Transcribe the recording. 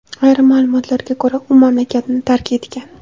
Ayrim ma’lumotlarga ko‘ra, u mamlakatni tark etgan.